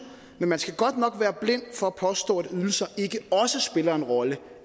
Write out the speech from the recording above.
men man skal godt nok være blind for at påstå at ydelser ikke også spiller en rolle